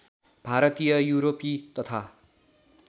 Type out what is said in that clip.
भारतीय युरोपी तथा